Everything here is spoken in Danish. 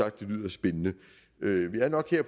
at det lyder spændende vi har nok her